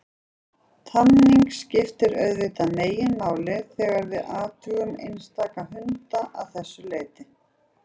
Tamningin skiptir auðvitað meginmáli þegar við athugum einstaka hunda að þessu leyti.